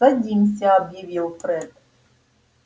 садимся объявил фред